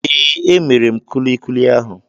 Ee, E mere m kulikuli ahụ.